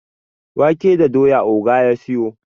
wake da doya oga ya siyo